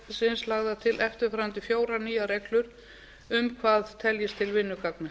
ákvæðisins lagðar til eftirfarandi fjórar nýjar reglur um hvað teljist til vinnugagna